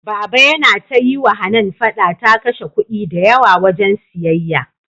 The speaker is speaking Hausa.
baba Yana ta yiwa Hanan fada ta kashe kudi da yawa wajan siyayya